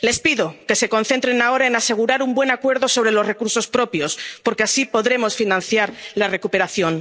Les pido que se concentren ahora en asegurar un buen acuerdo sobre los recursos propios, porque así podremos financiar la recuperación.